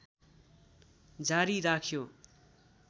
जारी राख्यो